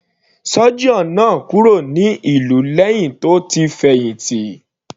Surgeon náà kúrò ní ìlú lẹ́hìn tó ti fẹ̀hìntì.